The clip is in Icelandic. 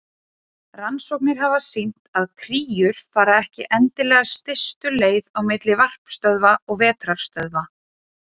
Rannsóknir hafa sýnt að kríur fara ekki endilega stystu leið á milli varpstöðva og vetrarstöðva.